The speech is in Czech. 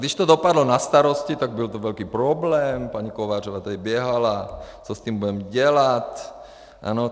Když to dopadlo na starosty, tak to byl velký problém, paní Kovářová tady běhala, co s tím budeme dělat.